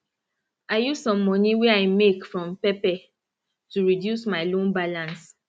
i use some money wey i make from pepper to reduce my loan balance